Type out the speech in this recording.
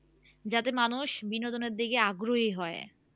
যাতে মানুষ বিনোদনের দিকে আগ্রহী হয়